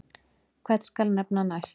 Hvern skal nefna næst?